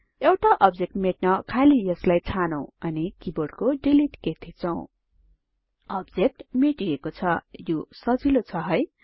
एउटा अब्जेक्ट मेट्न खाली यसलाई छानौं अनि किबोर्डको डिलिट कि थिचौं अब्जेक्ट मेटिएको छ यो सजिलो छ है